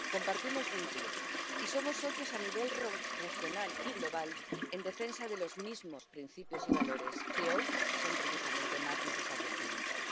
Compartimos vínculos y somos socios a nivel regional y global en defensa de los mismos principios y valores que hoy son precisamente más necesarios que nunca.